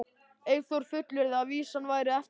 Eyþór fullyrti að vísan væri eftir þá